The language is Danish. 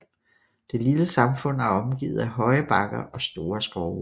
Det lille samfund er omgivet af høje bakker og store skove